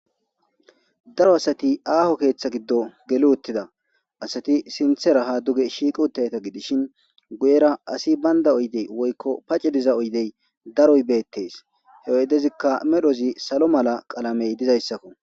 Daro adati aaho ketha gido geli uttida. Asati sintha ha duge shiiqi utidayta gidishin guyera asi banda diza oydey woyko pace diza oydey daroy beetes. He oydezika medhozi salo mala medhoy dizaysako.